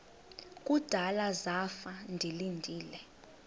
kudala zafa ndilinde